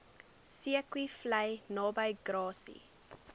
zeekoevlei naby grassy